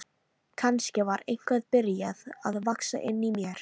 Kannski var eitthvað byrjað að vaxa inni í mér.